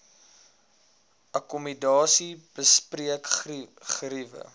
akkommodasie bespreek geriewe